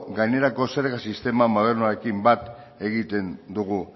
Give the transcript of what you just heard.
gainerako zerga sistema modernoekin bat egiten dugu